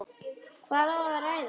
Hvað á að ræða?